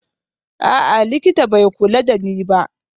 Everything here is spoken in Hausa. A'a, likita bai kula da ni ba